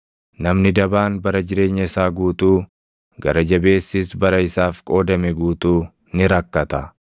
Namni dabaan bara jireenya isaa guutuu, gara jabeessis bara isaaf qoodame guutuu ni rakkata.